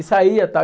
E saía